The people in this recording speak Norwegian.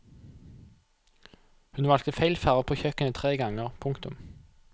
Hun valgte feil farve på kjøkkenet tre ganger. punktum